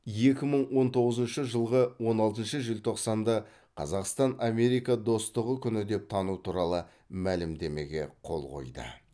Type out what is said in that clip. екі мың он тоғызыншы жылғы он алтыншы желтоқсанда қазақстан америка достығы күні деп тану туралы мәлімдемеге қол қойды